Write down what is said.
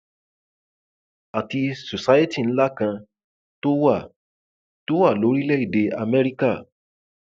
àti society ńlá kan tó wà tó wà lórílẹèdè amẹríkà